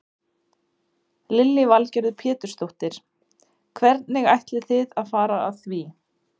Lillý Valgerður Pétursdóttir: Hvernig ætlið þið að fara að því?